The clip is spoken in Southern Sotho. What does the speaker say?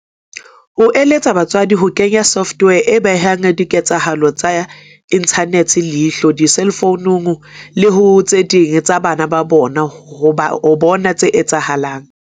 O eletsa batswadi ho kenya software e behang diketsahalo tsa inthanete leihlo diselfounung le ho tse ding tsa bana ba bona ho bona tse etsahalang.